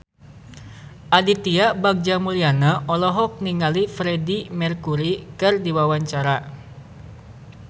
Aditya Bagja Mulyana olohok ningali Freedie Mercury keur diwawancara